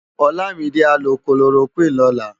Olamide á lò kólórókwin lòlá